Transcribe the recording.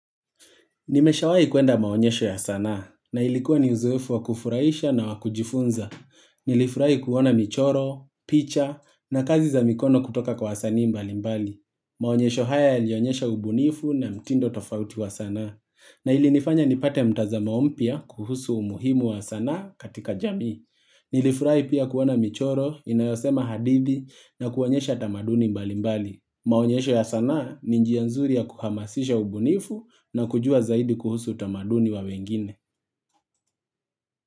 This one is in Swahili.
Nimeshawai kuenda maonyesho ya sanaa na ilikuwa ni uzoefu wa kufuraisha na wa kujifunza. Nilifurahi kuona michoro, picha na kazi za mikono kutoka kwa wasani mbali mbali. Maonyesho haya yalionyesha ubunifu na mtindo tofauti wa sana na ilinifanya nipate mtazamo mpia kuhusu umuhimu wa sanaa katika jami. Nilifurai pia kuona michoro inayosema hadithi na kuonyesha tamaduni mbali mbali. Maonyesho ya sanaa ni njia nzuri ya kuhamasisha ubunifu na kujua zaidi kuhusu utamaduni wa wengine.